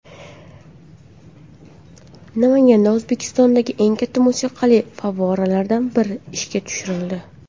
Namanganda O‘zbekistondagi eng katta musiqali favvoralardan biri ishga tushirildi .